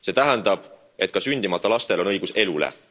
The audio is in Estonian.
See tähendab, et ka sündimata lastel on õigus elule.